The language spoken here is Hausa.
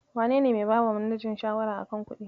Wanene mai bawa manajan shawara a kan kuɗi?